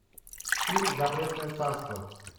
фильм запретное царство